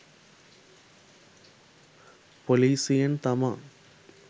පොලීසියෙන් තමා